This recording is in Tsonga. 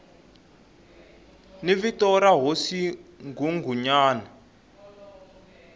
ni vito ra hosi nghunghunyana